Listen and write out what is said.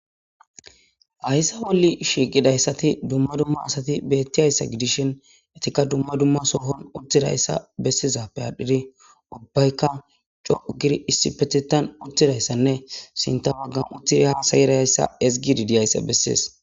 hayssa bolli shiiqidayssati dumma dumma asati beettiyassa gidishin etikka dumma dumma sohon uttidayssa bessizappe aadhdhidi ubbaykka co'u giri issipetitan uttidayssanne sinta baggan utthidi ha sayirayssa ezgidi diyayssa bessees